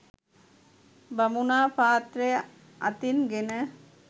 බමුණා පාත්‍රය අතින් ගෙන